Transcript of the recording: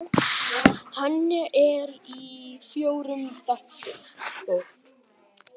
Hann er í fjórum þáttum.